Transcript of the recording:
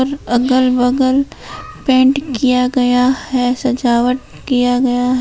अगल बगल पेंट किया गया है सजावट किया गया--